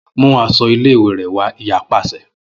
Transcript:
Mu aṣọ ile-iwe rẹ wa iya paṣẹ